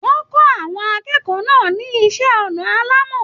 Wọn kọ àwọn akẹ́kọ̀ọ́ náà ní iṣẹ ọnà alàmọ́.